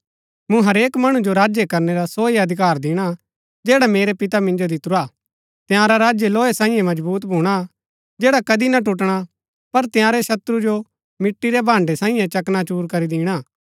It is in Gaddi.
मूँ हरेक मणु जो राज्य करनै रा सो ही अधिकार दिणा जैडा मेरै पिता मिन्जो दितुरा हा तंयारा राज्य लोहे सांईये मजबुत भूणा जैड़ा कदी ना टुटणा पर तंयारै शत्रु जो मिट्टी रै भांडै सांईये चकनाचूर करी दिणा